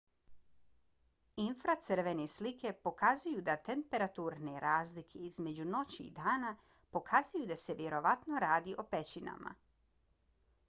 infracrvene slike pokazuju da temperaturne razlike između noći i dana pokazuju da se vjerovatno radi o pećinama